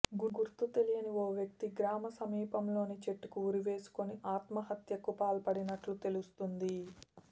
గుర్తు తెలియని ఓ వ్యక్తి గ్రామ సమీపంలోని చెట్టుకు ఉరివేసుకుని ఆత్మహత్యకు పాల్పడినట్లు తెలుస్తోంది